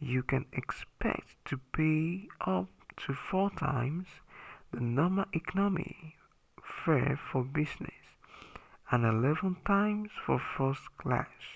you can expect to pay up to four times the normal economy fare for business and eleven times for first class